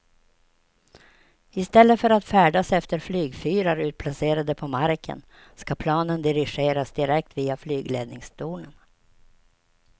I stället för att färdas efter flygfyrar utplacerade på marken ska planen dirigeras direkt via flygledningstornen.